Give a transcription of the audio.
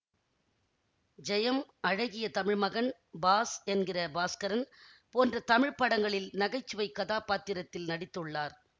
ஜெயம் அழகிய தமிழ்மகன் பாஸ் என்கிற பாஸ்கரன் போன்ற தமிழ் படங்களில் நகைச்சுவை கதாபாத்திரத்தில் நடித்துள்ளார்